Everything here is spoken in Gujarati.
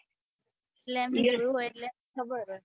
એટલે એમની ખબર હોય